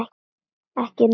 Ekki núna.